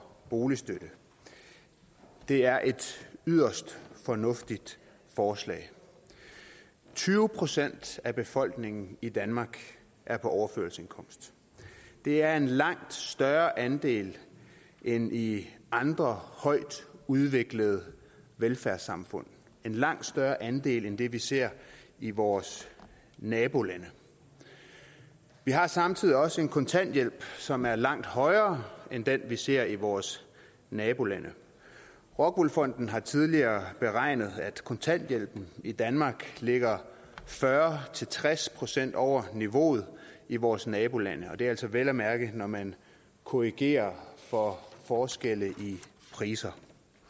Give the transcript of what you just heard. boligstøtte det er et yderst fornuftigt forslag tyve procent af befolkningen i danmark er på overførselsindkomst det er en langt større andel end i andre højtudviklede velfærdssamfund en langt større andel end det vi ser i vores nabolande vi har samtidig også en kontanthjælp som er langt højere end den vi ser i vores nabolande rockwool fonden har tidligere beregnet at kontanthjælpen i danmark ligger fyrre til tres procent over niveauet i vores nabolande og det er altså vel at mærke når man korrigerer for forskelle i priser